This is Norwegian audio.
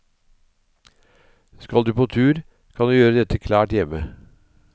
Skal du på tur, kan du gjøre dette klart hjemme.